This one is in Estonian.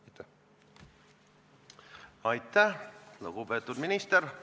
Aitäh, lugupeetud minister!